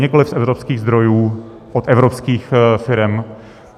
Nikoli z evropských zdrojů od evropských firem.